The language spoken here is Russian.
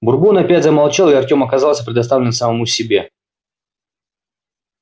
бурбон опять замолчал и артём оказался предоставлен самому себе